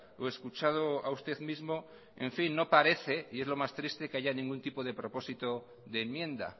o escuchado a usted mismo en fin no parece y es lo más triste que haya ningún tipo de propósito de enmienda